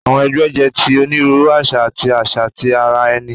Awọn ẹgbẹ jẹ ti oniruuru aṣa ati aṣa ti ara ẹni